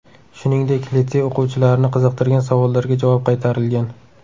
Shuningdek, litsey o‘quvchilarini qiziqtirgan savollarga javob qaytarilgan.